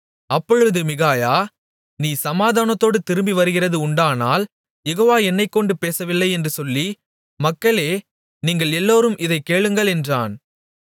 அப்பொழுது மிகாயா நீர் சமாதானத்தோடு திரும்பி வருகிறது உண்டானால் யெகோவா என்னைக்கொண்டு பேசவில்லை என்று சொல்லி மக்களே நீங்கள் எல்லோரும் இதைக் கேளுங்கள் என்றான்